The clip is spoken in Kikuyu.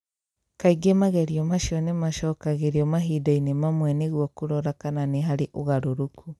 Kaingĩ magerio macio nĩ maacokagĩrio mahinda-inĩ mamwe nĩguo kũrora kana nĩ harĩ ũgarũrũku.